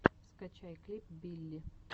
скачай клип билли